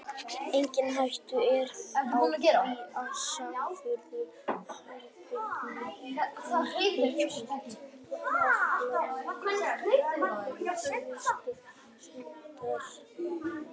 Engin hætta er á því að sáðfrumur heilbrigðra kynþroska karlmanna hverfi vegna sjálfsfróunar.